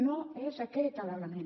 no és aquest l’element